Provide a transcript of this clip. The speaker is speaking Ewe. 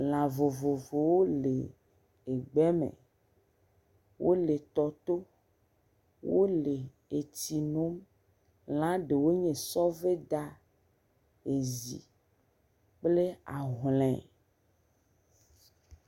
Lã vovovowo le egbe me. Wole tɔ to. Wo le etsi nom. Lã ɖewo nye sɔveda, ezi kple ahlɔ̃e.